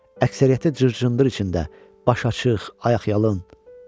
Əksəriyyəti cır-cındır içində, baş açıq, ayaqyalın.